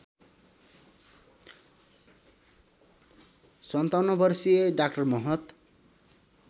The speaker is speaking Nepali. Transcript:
५७ वर्षीय डा महत